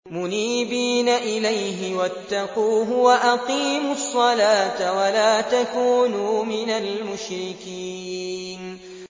۞ مُنِيبِينَ إِلَيْهِ وَاتَّقُوهُ وَأَقِيمُوا الصَّلَاةَ وَلَا تَكُونُوا مِنَ الْمُشْرِكِينَ